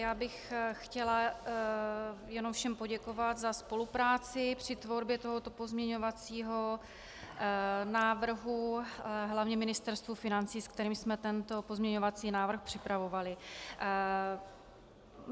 Já bych chtěla jenom všem poděkovat za spolupráci při tvorbě tohoto pozměňovacího návrhu hlavně Ministerstvu financí, se kterým jsme tento pozměňovací návrh připravovali.